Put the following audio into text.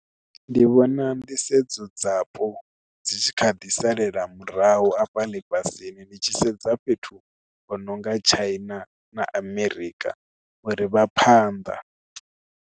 Ndi vhona nḓisedzo dzapo dzi tshi kha ḓi salela murahu afha lifhasini ndi tshi sedza fhethu ho nonga tshaini na amerika uri vha phanḓa.